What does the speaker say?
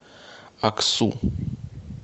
аксу